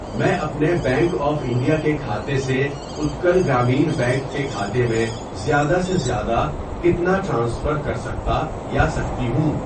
میں اپنے bank of India کےکھاتے سے اتکل گرامین بینک کے کھاتے میں زیادہ سے زیادہ کتنا ٹرانسفر کرسکتا یا سکتی ہوں؟